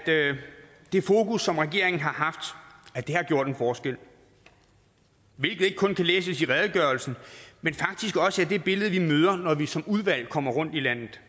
det fokus som regeringen har haft har gjort en forskel hvilket ikke kun kan læses i redegørelsen men faktisk også er det billede vi møder når vi som udvalg kommer rundt i landet